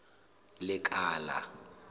lekala